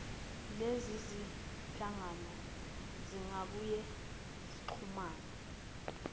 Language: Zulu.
lezizinhlangano zingabuye zixhumane